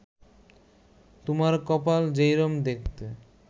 তুমার কপাল যেইরম দেখতে